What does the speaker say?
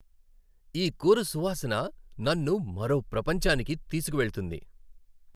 ఈ కూర సువాసన నన్ను మరో ప్రపంచానికి తీసుకువెళ్తుంది.